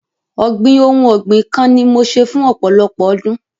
Ọ̀gbìn ohun ọ̀gbìn kan ni mo ṣe fún ọ̀pọ̀lọpọ̀ ọdún.